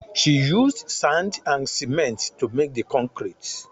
She used sand and cement to make the concrete